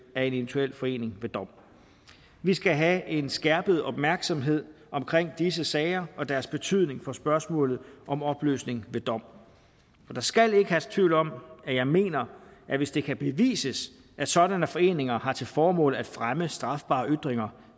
af en eventuel forening ved dom vi skal have en skærpet opmærksomhed omkring disse sager og deres betydning for spørgsmålet om opløsning ved dom der skal ikke herske tvivl om at jeg mener at hvis det kan bevises at sådanne foreninger har til formål at fremme strafbare ytringer